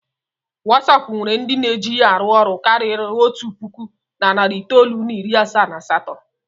Watsap nwere ndị na-eji ya arụ ọrụ karịrị otu puku na narị itoolu na iri asaa na asatọ.